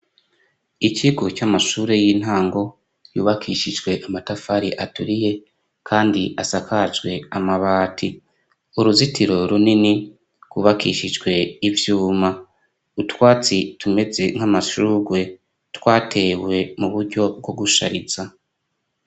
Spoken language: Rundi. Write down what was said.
Ikigo c'amashure y'intango yubakishijwe amatafari aturiye kandi asakajwe amabati. Uruzitiro runini rwubakishijwe ivyuma. Utwatsi tumeze nk'amashurwe twatewe mu buryo bwo gushariza.